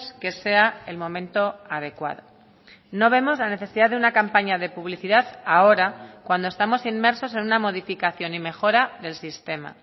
que sea el momento adecuado no vemos la necesidad de una campaña de publicidad ahora cuando estamos inmersos en una modificación y mejora del sistema